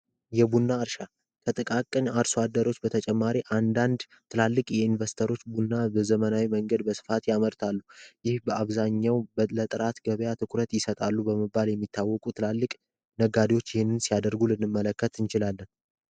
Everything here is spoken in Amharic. የቡና እርሻ ከጥቃቅን አርሶ አደሮች በተጨማሪ አንዳንድ ትላልቅ የይንቨስተሮች እርሻ ቡና በስፋት ያመርታሉ። ይህ በአብዛኛው ለጥራት ትኩረት ይሰጣሉ በመባል የሚታወቁት ትላልቅ ነጋዴዎች ይሄንን ሲያደርጉ ልንመለከት እንችላለን።